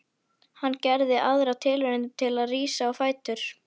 Hann gerði aðra tilraun til að rísa á fætur.